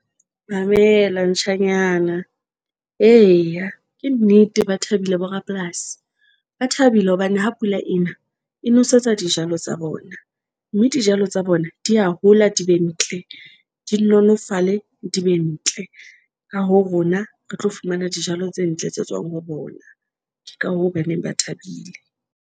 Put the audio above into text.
Mamela ntjhanyana eya ke nnete. Ba thabile, bo rapolasi ba thabile hobane ha pula ena e nwesetsa dijalo tsa bona, mme dijalo tsa bona di ya hola, di be ntle, di nolofale di be ntle. Ka hoo, rona re tlo fumana dijalo tse ntle tse tswang ho bona. Ke ka hoo, ba neng ba thabile.